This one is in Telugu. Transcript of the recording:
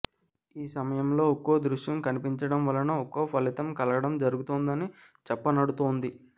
ఈ సమయంలో ఒక్కో దృశ్యం కనిపించడం వలన ఒక్కో ఫలితం కలగడం జరుగుతుందని చెప్పనడుతోంది